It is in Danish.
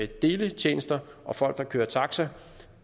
deletjenester og folk der kører taxa